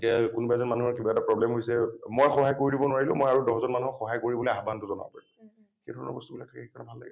এতিয়া কোনোবা এজন মানুহৰ কিবা problem হৈছে মই সহায় কৰি দিব নোৱাৰিলেও মই আৰু দহ জন মানুহক সহায় কৰিবলৈ আহ্বান জনাব পাৰিম । সেই ধৰনৰ বস্তুবিলাক সেইকাৰণে ভাল লাগে ।